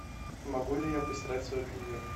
могу ли я постирать свое белье